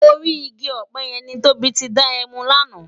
Órì igi òpè yèn ni Tobi ti dá èmú làná